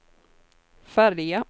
färja